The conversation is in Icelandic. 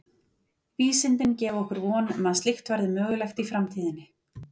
Vísindin gefa okkur von um að slíkt verði mögulegt í framtíðinni.